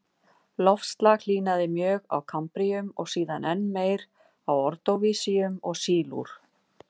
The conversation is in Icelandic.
Loftslag hlýnaði mjög á kambríum og síðan enn meir á ordóvísíum og sílúr.